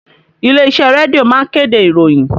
Ilé iṣẹ́ rédíò ma ń kéde ìròyìn